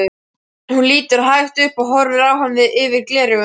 Hún lítur hægt upp og horfir á hann yfir gleraugun.